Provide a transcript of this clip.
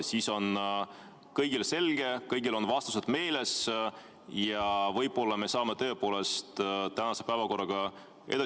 Siis on kõigile selge, kõigil on vastused meeles ja võib-olla me saame tõepoolest tänase päevakorraga edasi liikuda.